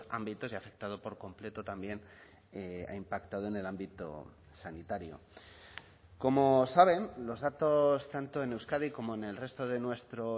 ámbitos y ha afectado por completo también ha impactado en el ámbito sanitario como saben los datos tanto en euskadi como en el resto de nuestro